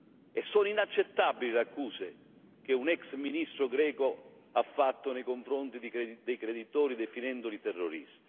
E sono inaccettabili le accuse che un ex ministro greco ha fatto nei confronti dei creditori, definendoli terroristi.